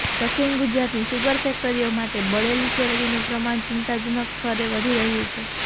દક્ષિણ ગુજરાતની સુગર ફેક્ટરીઓ માટે બળેલી શેરડીનું પ્રમાણ ચિંતાજનક સ્તરે વધી રહ્યું છે